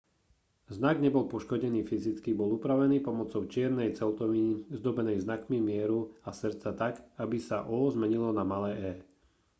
znak nebol poškodený fyzicky bol upravený pomocou čiernej celtoviny zdobenej znakmi mieru a srdca tak aby sa o zmenilo na malé e